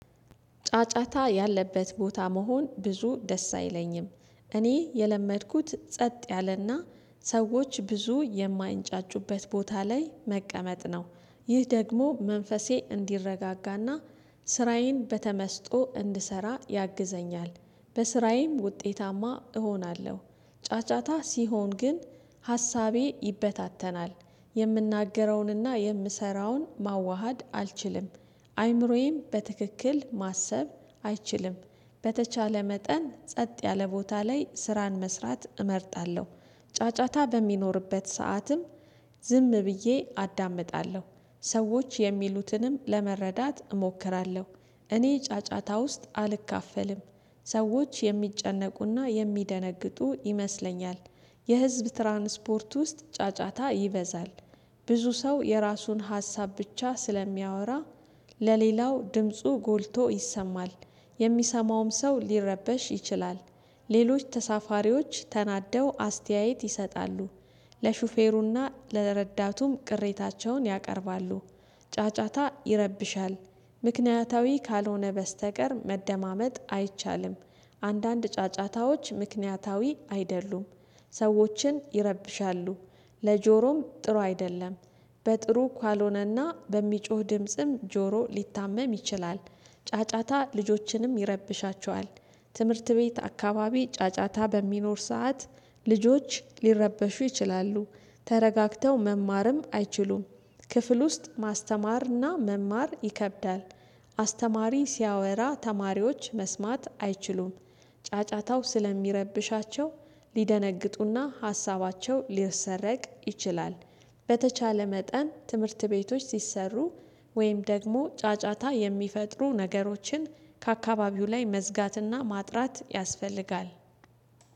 ጫጫታ ያለበት ቦታ መሆን ብዙ ደስ አይለኝም እኔ የለመድኩት ጸጥ ያለና ሰዎች ብዙ የማይንጫጩበት ቦታ ላይ መቀመጥ ነው። ይህ ደግሞ መንፈሴ እንዲረጋጋና። ስራዬን በተመስጦ እንድሰራ ያግዘኛል። በስራዬም ውጤታማ እሆናለሁ። ጫጫታ ሲሆን ግን ሀሳቤ ይበታተናል። የምናገረውንና የምሰራውን ማዋሃድ አልችልም። አይምሮዬም በትክክል ማሰብ አይችልም። በተቻለ መጠን ጸጥ ያለ ቦታ ላይ ስራን መስራት እመርጣለሁ። ጫጫታ በሚኖርበት ሰዓትም ዝም ብዬ አዳምጣለሁ። ሰዎች የሚሉትንም ለመረዳት እሞክራለሁ። እኔ ጫጫታ ውስጥ አልካፈልም። ሰዎች የሚጨነቁና የሚደነግጡ ይመስለኛል። የህዝብ ትራንስፖርት ውስጥ ጫጫታ ይበዛል። ብዙ ሰው የራሱን ሀሳብ ብቻ ስለሚያወራ። ለሌላው ድምፁ ጎልቶ ይሰማል። የሚሰማውም ሰው ሊረበሽ ይችላል። ሌሎች ተሳፋሪዎች ተናደው አስተያየት ይሰጣሉ። ለሹፌሩና ለረዳቱም ቅሬታቸውን ያቀርባሉ። ጫጫታ ይረብሻል። ምክንያታዊ ካልሆነ በስተቀር መደማመጥ አይቻልም። አንዳንድ ጫጫታዎች ምክንያታዊ አይደሉም። ሰዎችን ይረብሻሉ። ለጆሮም ጥሩ አይደለም። በጥሩ ካልሆነና በሚጮህ ድምጽም ጆሮ ሊታመም ይችላል። ጫጫታ ልጆችንም ይረብሻቸዋል። ትምህርት ቤት አካባቢ ጫጫታ በሚኖር ሰዓት ልጆች ሊረበሹ ይችላሉ። ተረጋግተው መማርም አይችሉም። ክፍል ውስጥ ማስተማርና መማር ይከብዳል። አስተማሪ ሲያወራ ተማሪዎች መስማት አይችሉም። ጫጫታው ስለሚረብሻቸው ሊደነግጡና ሀሳባቸው ሊሰረቅ ይችላል። በተቻለ መጠን ትምህርት ቤቶች ሲሰሩ ወይም ደግሞ ጫጫታ የሚፈጥሩ ነገሮችን ከአካባቢው ላይ መዝጋትና ማጥራት ያስፈልጋል